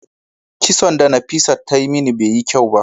kison da Nafisat ta Yi mini Bai Yi kyau ba.